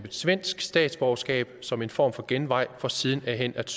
svensk statsborgerskab som en form for genvej for siden hen at